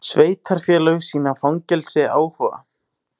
Sveitarfélög sýna fangelsi áhuga